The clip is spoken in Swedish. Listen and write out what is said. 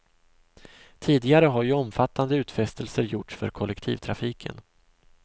Tidigare har ju omfattande utfästelser gjorts för kollektivtrafiken.